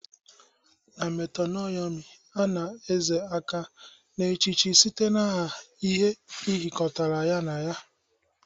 Na metonymy, a na-ezo aka n'echiche site n'aha ihe jikọrọ ya na ya